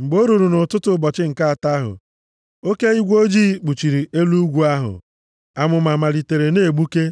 Mgbe o ruru nʼụtụtụ ụbọchị nke atọ ahụ, oke igwe ojii kpuchiri elu ugwu ahụ. Amụma malitere na-egbuke,